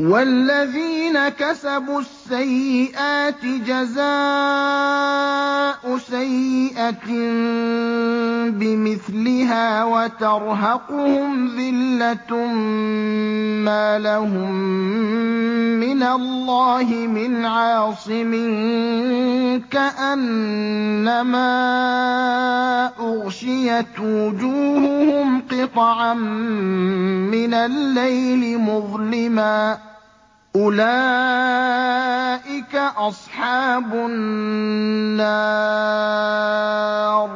وَالَّذِينَ كَسَبُوا السَّيِّئَاتِ جَزَاءُ سَيِّئَةٍ بِمِثْلِهَا وَتَرْهَقُهُمْ ذِلَّةٌ ۖ مَّا لَهُم مِّنَ اللَّهِ مِنْ عَاصِمٍ ۖ كَأَنَّمَا أُغْشِيَتْ وُجُوهُهُمْ قِطَعًا مِّنَ اللَّيْلِ مُظْلِمًا ۚ أُولَٰئِكَ أَصْحَابُ النَّارِ ۖ